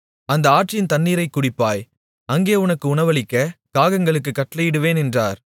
அந்த ஆற்றின் தண்ணீரைக் குடிப்பாய் அங்கே உனக்கு உணவளிக்க காகங்களுக்குக் கட்டளையிடுவேன் என்றார்